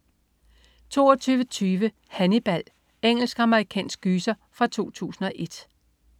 22.20 Hannibal. Engelsk-amerikansk gyser fra 2001